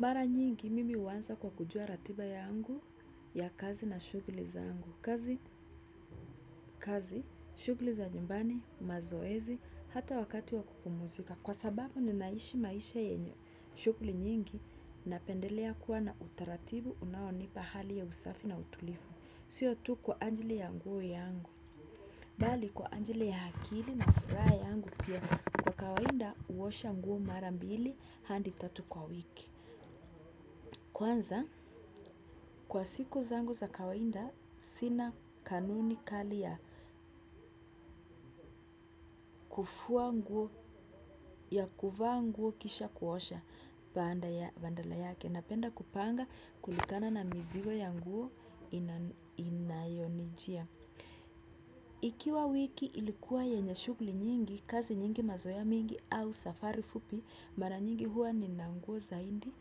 Mara nyingi mimi huanza kwa kujua ratiba yangu ya kazi na shughuli zangu. Kazi, kazi, shughuli za nyumbani, mazoezi, hata wakati wa kupumuzika. Kwa sababu ninaishi maisha yenye shughuli nyingi napendelea kuwa na utaratibu unonipa hali ya usafi na utulivu. Sio tu kwa ajili ya nguo yangu, bali kwa ajili ya akili na furaha yangu pia kwa kawaida huosha nguo mara mbili hadi tatu kwa wiki. Kwanza, kwa siku zangu za kawaida, sina kanuni kali ya kufua nguo ya kuvaa nguo kisha kuosha baada ya badala yake. Napenda kupanga kulingana na mizigo ya nguo inayonijia. Ikiwa wiki ilikuwa yenye shughuli nyingi kazi nyingi mazoea mingi au safari fupi mara nyingi huwa nina nguo zaidi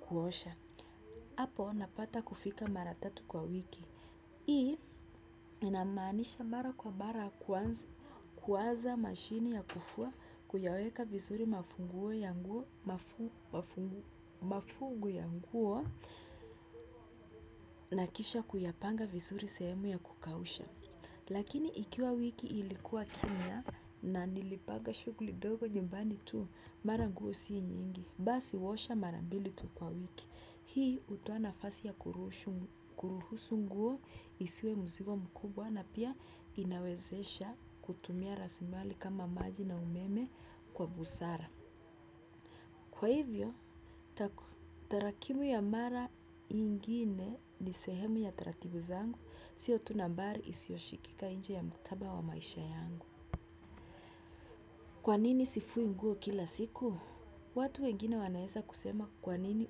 kuosha gapo napata kufika mara tatu kwa wiki. Hii inamaanisha mara kwa mara kuwaza mashini ya kufua kuyaweka vizuri mafungu ya nguo na kisha kuyapanga vizuri sehemu ya kukausha. Lakini ikiwa wiki ilikuwa kimya na nilipanga shughuli dogo nyumbani tu mara nguo si nyingi. Basi huosha mara mbili tu kwa wiki. Hii hutoa nafasi ya kuruhusu nguo isiwe mzigo mkubwa na pia inawezesha kutumia rasimali kama maji na umeme kwa busara. Kwa hivyo, tarakimu ya mara ingine ni sehemu ya taratibu zangu, sio tu nambari isioshikika inje ya mtaba wa maisha yangu. Kwa nini sifui nguo kila siku? Watu wengine wanaeza kusema kwa nini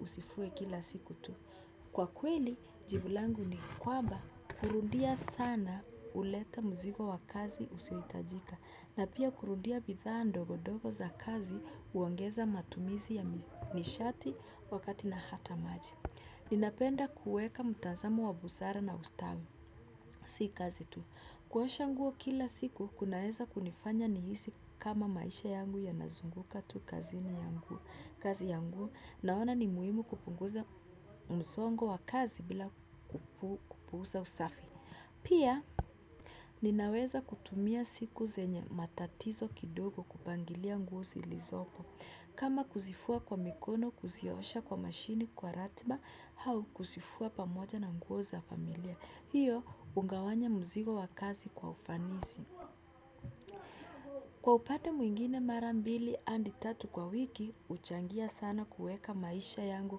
usifue kila siku tu. Kwa kweli jibu langu ni kwamba kurudia sana huleta mzigo wa kazi usiohitajika. Na pia kurudia bidhaa ndogondogo za kazi huongeza matumizi ya nishati wakati na hata maji. Ninapenda kuweka mtazamo wa busara na ustawi. Si kazi tu. Kuosha nguo kila siku, kunaeza kunifanya nihisi kama maisha yangu yanazunguka tu kaziniyangu kazi yangu naona ni muhimu kupunguza mzongo wa kazi bila kupuuza usafi. Pia ninaweza kutumia siku zenye matatizo kidogo kupangilia nguo zilizopo. Kama kuzifua kwa mikono, kuziosha kwa mashini, kwa ratiba, au kuzifua pamoja na nguo za familia. Hiyo, hugawanya mzigo wa kazi kwa ufanisi. Kwa upande mwingine mara mbili hadi tatu kwa wiki, huchangia sana kueka maisha yangu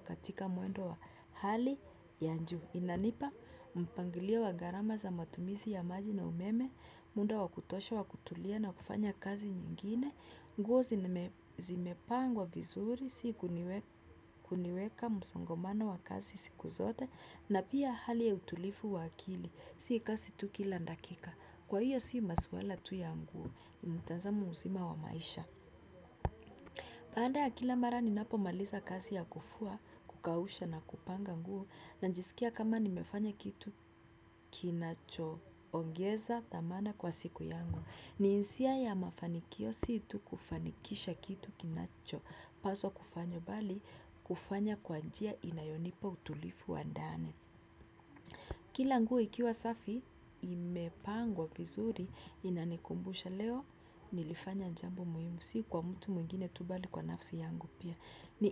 katika muendo wa hali ya juu. Inanipa, mpangilio wa gharama za matumizi ya maji na umeme, muda wa kutosha wa kutulia na kufanya kazi nyingine, nguo zimepangwa vizuri, si kuniweka msongamano wa kazi siku zote, na pia hali ya utulivu wa akili. Si kazi tu kila dakika. Kwa hiyo si maswala tu ya nguo. Mtazamo uzima wa maisha. Baada ya kila mara ninapo maliza kazi ya kufua kukausha na kupanga nguo najisikia kama nimefanya kitu kinacho ongeza thamana kwa siku yangu. Ni hisia ya mafanikio si tu kufanikisha kitu kinacho paswa kufanywa bali kufanya kwa njia inayonipa utulivu wa ndani. Kila nguo ikiwa safi imepangwa vizuri inanikumbusha leo nilifanya jambo muhimu si kwa mtu mwingine tu bali kwa nafsi yangu pia ni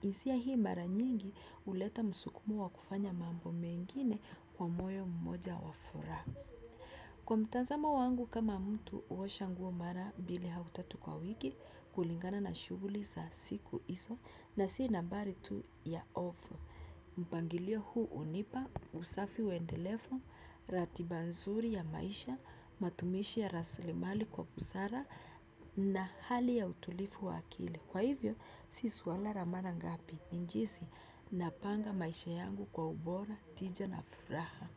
hisia hii mara nyingi huleta msukumo wa kufanya mambo mengine kwa moyo mmoja wa furaha kwa mtazamo wangu kama mtu huosha nguo mara mbili au tatu kwa wiki kulingana na shughuli za siku hizo na si nambari tu ya hofu mpangilio huu hunipa usafi wendelevu ratiba nzuri ya maisha, matumishi ya raslimali kwa busara na hali ya utulivu wa akili. Kwa hivyo, si swala la mara ngapi, ni jinsi napanga maisha yangu kwa ubora, tija na furaha.